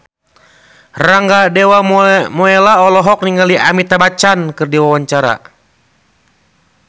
Rangga Dewamoela olohok ningali Amitabh Bachchan keur diwawancara